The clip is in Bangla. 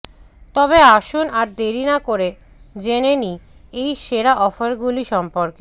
তবে আসুন আর দেরি না করে জেনে নি এই সেরা অফারগুলি সম্পর্কে